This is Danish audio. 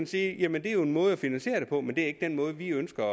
sige er en måde at finansiere det på men det er ikke den måde vi ønsker